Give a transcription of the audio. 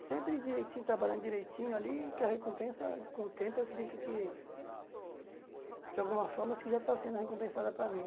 E sempre direitinho, trabalhando direitinho ali, que a recompensa, com o tempo, acredito que, de alguma forma, assim já está sendo recompensada para mim.